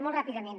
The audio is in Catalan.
molt ràpidament